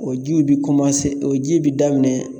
O jiw bi bi komanse o ji bi daminɛ